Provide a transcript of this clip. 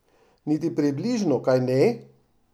Niti približno, kajne?